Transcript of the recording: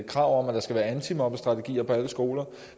krav om at der skal være antimobningsstrategier på alle skoler